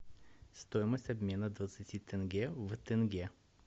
стоимость обмена двадцати тенге в тенге